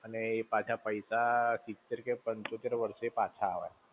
ને પાછા પૈસા સિત્તેર કે પંચોતેર વર્ષે પાછા આવે.